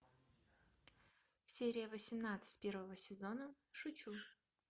серия восемнадцать первого сезона шучу